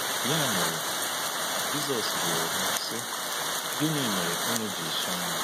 Ya mere, Jizọs jụrụ ha, sị: “Gịnị mere unu ji chọọ m?”